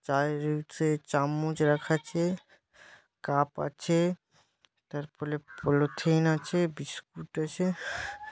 চায়ে হচ্ছে চামচ রাখা আছে কাপ আছে তারপলে পলিথিন আছে বিস্কুট আছে।